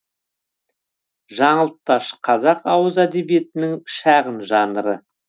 жаңылтпаш қазақ ауыз әдебиетінің шағын жанры